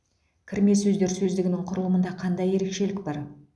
кірме сөздер сөздігінің құрылымында қандай ерекшелік бар